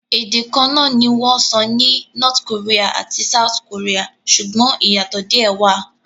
Ède kan náà ni wọ́n sọ ní North Korea àti South Korea, ṣùgbọ́n ìyàtò díè wà.